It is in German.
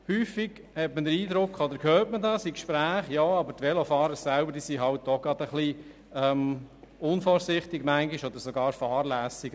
Häufig hat man den Eindruck oder hört in Gesprächen, die Velofahrer selber seien manchmal auch unvorsichtig oder sogar fahrlässig.